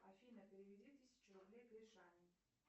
афина переведи тысячу рублей гришане